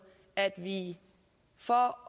at vi for